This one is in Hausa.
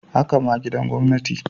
Haka ma gidan gwamnati.